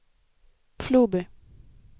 Floby